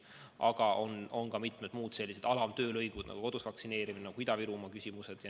Aga on ka mitmed muud sellised alamtöölõigud nagu kodus vaktsineerimine, nagu Ida-Virumaa küsimused.